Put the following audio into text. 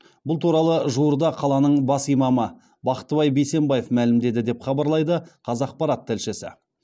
бұл туралы жуырда қаланың бас имамы бақтыбай бейсенбаев мәлімдеді деп хабарлайды қазақпарат тілшісі